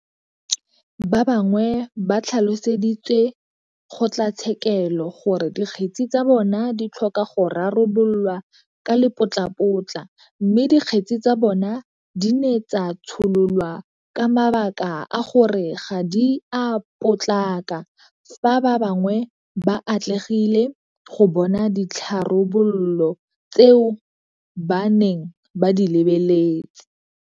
Ba bangwe ba tlhaloseditse kgotlatshekelo gore dikgetse tsa bona di tlhoka go rarabololwa ka lepotlapotla mme dikgetse tsa bona di ne tsa tshololwa ka mabaka a gore ga di a potlaka fa ba bangwe ba atlegile go bona ditharabololo tseo ba neng ba di lebeletse.